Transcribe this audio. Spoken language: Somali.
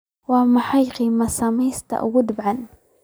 waa maxay qiimaha saamiyada ugu dambeeyay